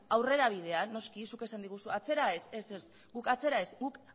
aurrerabidean noski zuk esan digu atzera ez ez ez guk atzera ez